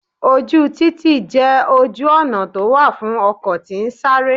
Ojú títì jẹ́ ojú ọ̀nà tó wà fún ọkọ̀ tí ń sáré.